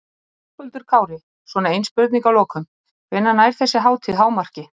Höskuldur Kári: Svona ein spurning að lokum, hvenær nær þessi hátíð hámarki?